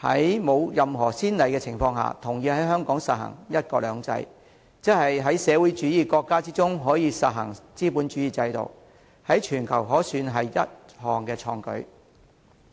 在沒有任何先例的情況下，同意在香港實行"一國兩制"，即在社會主義國家之中，實行資本主義制度，可算是全球一項創舉。